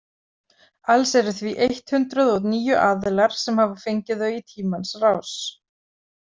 Alls eru því eitt hundruð og níu aðilar sem hafa fengið þau í tímans rás.